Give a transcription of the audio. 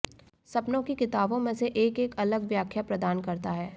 सपनों की किताबों में से एक एक अलग व्याख्या प्रदान करता है